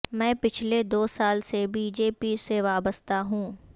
میں پچھلے دوسال سے بی جے پی سے وابستہ ہوں